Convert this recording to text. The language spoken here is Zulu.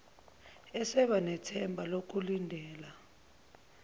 eseba nethemba lokulindela